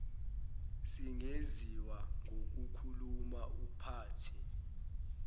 singenziwa ngokukhuluma uphathi